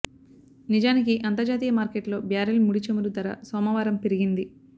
నిజానికి అంతర్జాతీయ మార్కెట్లో బ్యారెల్ ముడి చమురు ధర సోమవారం పెరిగింది